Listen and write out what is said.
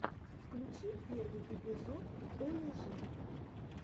включи первый эпизод олежэ